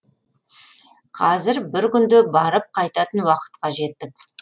қазір бір күнде барып қайтатын уақытқа жеттік